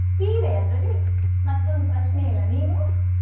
ಸೀರೆ ಅದ್ರಲ್ಲಿ ಮತ್ತೊಂದು ಪ್ರಶ್ನೆ ಇಲ್ಲ, ನೀನು?